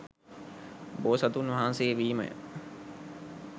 බෝසතුන් වහන්සේ වීමය.